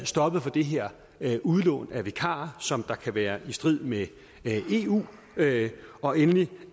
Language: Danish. stoppet det her udlån af vikarer som kan være i strid med eu regler og endelig